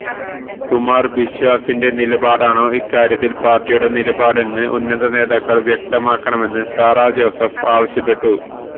കുമാര് ബിശ്വാസിന്റെ നിലപാടാണോ ഇക്കാര്യത്തില് പാര്ട്ടിയുടെ നിലപാടെന്ന് ഉന്നത നേതാക്കള് വ്യക്തമാക്കണമെന്ന് സാറാ ജോസഫ് ആവശ്യപ്പെട്ടു